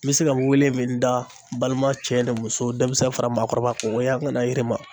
N bɛ se ka n wele min da n balima cɛ ni muso, deminsɛn fara maakɔrɔba kan , an ka na yirima.